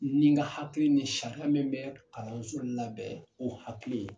Ni n ka hakili ni sariya min bɛ kalanso labɛn o hakili ye